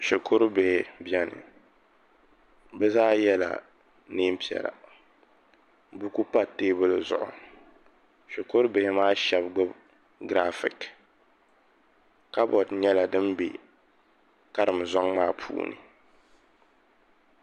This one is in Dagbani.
Shikurubihi beni bɛ zaa yela neen'piɛla buku pa teebuli zuɣu shikurubihi maa shɛba gbubi giraafiki kaboodi nyɛla din be karim zɔŋ maa puuni.